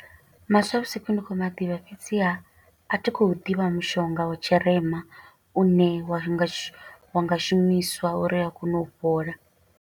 Maswavhusiku ndi khou maḓivha, fhedziha a thi khou ḓivha mushonga wa tshirema, u ne wa nga shu, wa nga shumiswa uri a kone u fhola.